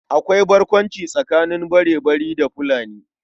Akwai barkwanci tsakanin Barebari da Fulani.